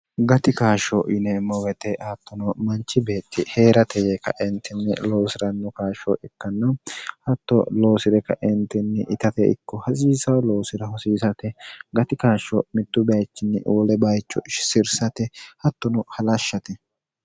gati kaashsho yineemmo wete attono manchi beetti hee'ratege kaentinni loosi'ranno kaashsho ikkanno hatto loosi're kaeentinni itate ikko hasiisa loosire hosiisate gati kaashsho mittu baechinni uwole bayicho sirsate hattono halashshate